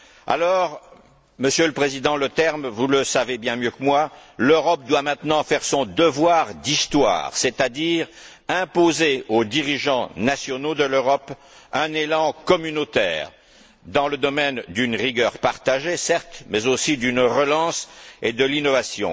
Alors, Monsieur le Président Leterme, vous le savez bien mieux que moi, l'Europe doit maintenant faire son devoir d'histoire, c'est à dire imposer aux dirigeants nationaux de l'Europe un élan communautaire dans le contexte d'une rigueur partagée, certes, mais aussi dans le cadre de la relance et de l'innovation.